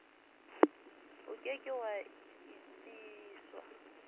o ke ke wa etsiswa